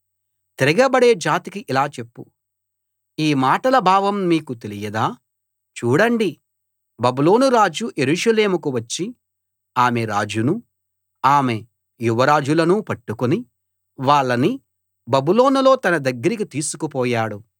తిరగబడే జాతికి ఇలా చెప్పు ఈ మాటల భావం మీకు తెలియదా చూడండి బబులోనురాజు యెరూషలేముకు వచ్చి ఆమె రాజునూ ఆమె యువరాజులనూ పట్టుకుని వాళ్ళని బబులోనులో తన దగ్గరకి తీసుకు పోయాడు